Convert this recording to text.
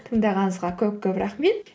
тыңдағаныңызға көп көп рахмет